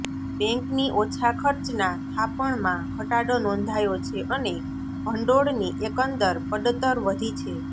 બેન્કની ઓછા ખર્ચના થાપણમાં ઘટાડો નોંધાયો છે અને ભંડોળની એકંદર પડતર વધી છે